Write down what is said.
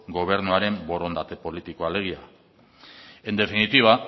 gobernuaren borondate politikoa alegia en definitiva